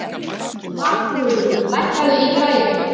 Valþrúður, lækkaðu í græjunum.